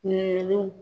Ɲininkaliw